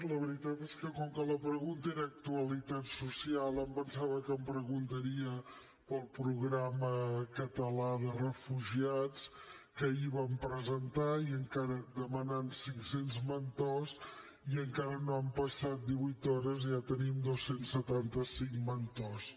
la veritat és que com que la pregunta era actualitat social em pensava que em preguntaria pel programa català de refugiats que ahir vam presentar demanant cinc cents mentors i encara no han passat divuit hores i ja tenim dos cents i setanta cinc mentors